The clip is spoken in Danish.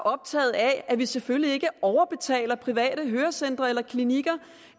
optaget af at vi selvfølgelig ikke overbetaler private hørecentre klinikker